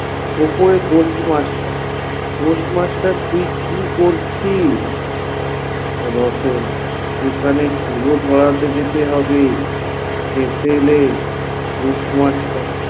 ওপরে post master, post master তুই কি করছিস এখানে ধুনো ধড়াতে যেতে হবে হেসেলে post master